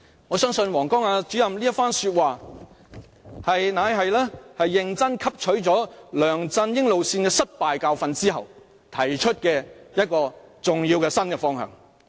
"我相信王光亞主任這番話乃是認真汲取梁振英路線失敗的教訓後所提出的重要新方向。